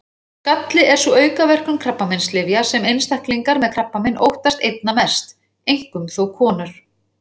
Skalli er sú aukaverkun krabbameinslyfja sem einstaklingar með krabbamein óttast einna mest, einkum þó konur.